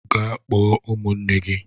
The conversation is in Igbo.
Gaa kpọọ m ụmụnne gị.